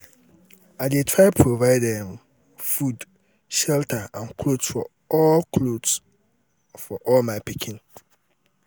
i dey try provide um food shelter and clothes for all clothes for all my pikin.